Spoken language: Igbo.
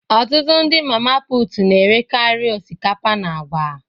Ọtụtụ ndị mama put na-erekari osikapa na agwa